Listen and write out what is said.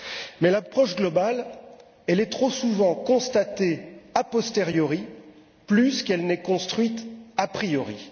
Mais l'approche globale est trop souvent constatée a posteriori plus qu'elle n'est construite a priori.